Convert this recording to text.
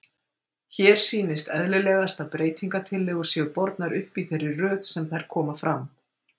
Hér sýnist eðlilegast að breytingatillögur séu bornar upp í þeirri röð sem þær koma fram.